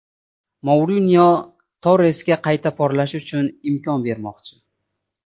Mourinyo Torresga qayta porlashi uchun imkon bermoqchi.